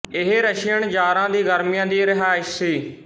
ਇਹ ਰਸ਼ੀਅਨ ਜ਼ਾਰਾਂ ਦੀ ਗਰਮੀਆਂ ਦੀ ਰਿਹਾਇਸ਼ ਸੀ